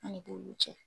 An ni bo cɛ